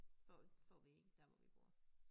Får får vi ikke dér hvor vi bor